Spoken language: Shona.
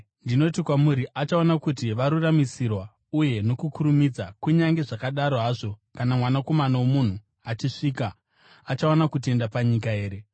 Ndinoti kwamuri, achaona kuti varuramisirwa, uye nokukurumidza. Kunyange zvakadaro hazvo, kana Mwanakomana woMunhu achisvika, achawana kutenda panyika here?”